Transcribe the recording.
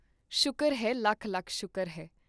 ਸ਼ੁਕਰ ਹੈ ਲੱਖ ਲੱਖ ਸ਼ੁਕਰ ਹੈ।